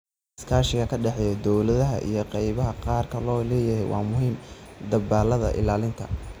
Iskaashiga ka dhexeeya dowladaha iyo qaybaha gaarka loo leeyahay waa muhiim dadaallada ilaalinta.